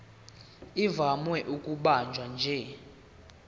ivame ukubanjwa nje